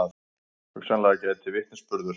Hugsanlega gæti vitnisburður